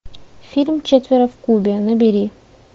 фильм четверо в кубе набери